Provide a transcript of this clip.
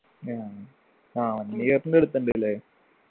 ആഹ് ആ one year ൻ്റെ അടുത്തുണ്ട് ല്ലേ